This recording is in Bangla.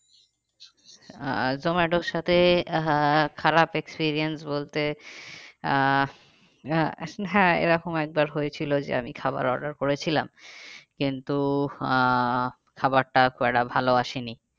আহ জোমাটোর সাথে আহ খারাপ experience বলতে আহ হ্যাঁ এরকম একবার হয়েছিল যে আমি খাবার order করেছিলাম কিন্তু আহ খাবারটা খুব একটা ভালো আসেনি।